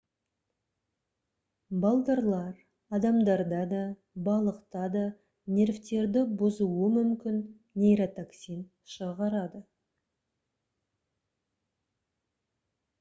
балдырлар адамдарда да балықта да нервтерді бұзуы мүмкін нейротоксин шығарады